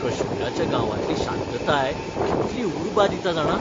काश्मीराच्या गांवांतलीं शांतताय कितली उर्बा दिता जाणा.